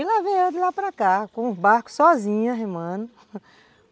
E lá veio eu de lá para cá, com o barco sozinha remando